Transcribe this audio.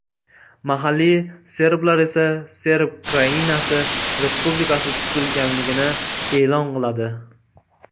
Mahalliy serblar esa Serb Krainasi respublikasi tuzilganligini e’lon qiladi.